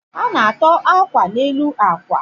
A na-atọ uwe akwa n'elu akwa